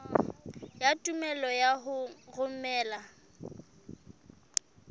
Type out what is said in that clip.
ya tumello ya ho romela